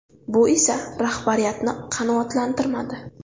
Bu esa rahbariyatni qanoatlantirmadi.